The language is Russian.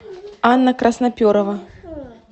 анна красноперова